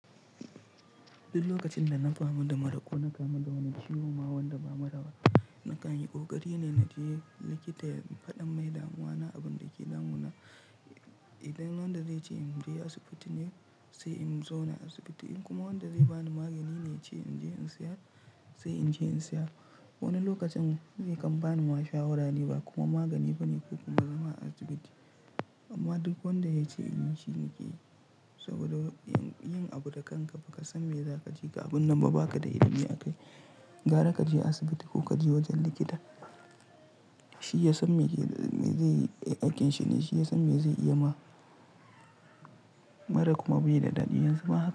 Duk lokacin da na fama da mura ko na kamu da wani ciwon ma wanda ba mura ba. Na kan yi kokari ne na je likita ya faɗi mani damuwa na abin da ke damu na. Idan wanda zai ce in je asibiti ne sai in zo na asibiti in kuma wanda zai bani magani ne, ya ce in je in saya sai in je in saya. Wani lokacin ya kan bani ma shawara ne ba kuma magani ba ne ko kuma zama a asibiti. Amma duk wanda ya ce in yi shi na ke yi saboda yin abu da kanka ba ka san me za ka ji ga abun nan ba. Ba ka da iliimi a kai. Gara ka je asibiti ko ka je wajen likita. Shi ya san me zai yi aikin shi ne, shi ya san me zai iya ma mara kuma bai da daɗi yanzu ba.